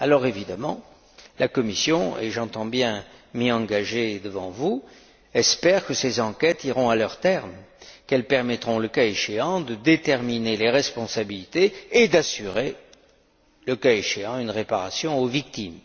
Évidemment, la Commission et j'entends bien m'y engager devant vous espère que ces enquêtes iront à leur terme, qu'elles permettront, le cas échéant, de déterminer les responsabilités et d'assurer, le cas échéant, une réparation aux victimes.